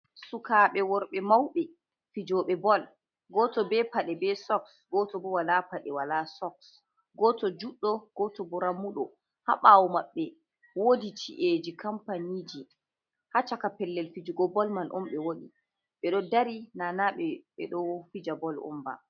"Sukaɓe worɓe"mauɓe fijoɓe bol goto be paɗe be soks goto bo wala paɗe wala soks goto juɗɗo goto bo ramuɗo ha ɓawo maɓɓe wodi chi'eji kampaniji ha chaka pellel fijugo bol man onɓe woni ɓeɗo dari nana ɓeɗo fija bol on ba.